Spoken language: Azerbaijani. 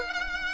Sükut!